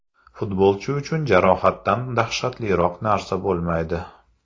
Futbolchi uchun jarohatdan dahshatliroq narsa bo‘lmaydi.